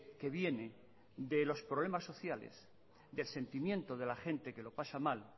que viene de los problemas sociales del sentimiento de la gente que lo pasa mal